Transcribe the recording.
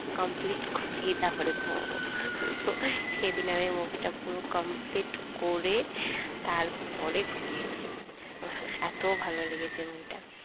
complete করেই তারপর নয় ঘুমবো সেদিন আমি movie তা পুরো complete করে তারপরে ঘুমিয়েছি এত ভালো লেগেছে movie টা